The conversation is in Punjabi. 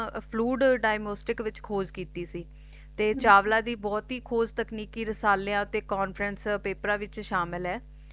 ਫਲੁਇਦ ਦੀਆਮੋਸਤਿਕ ਵਿੱਚ ਖੋਜ ਕੀਤੀ ਸੀ ਤੇ ਚਾਵਲਾ ਦੀ ਬਹੁਤ ਹੀ ਖੋਜ ਰਸਾਲਿਆਂ ਤੇ Conference Paper ਵਿੱਚ ਸ਼ਾਮਿਲ ਏ